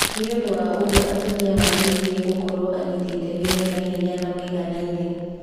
Nĩũndũ wa ũguo atumia magĩrĩirwo gũkorwo anyiti itemi mena hinya na maiganaine.